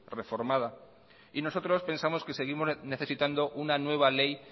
reformada y nosotros pensamos que seguimos necesitando una nueva ley